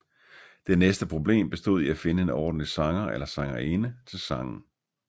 Det næste problem bestod i at finde en ordentlig sanger eller sangerinde til sangen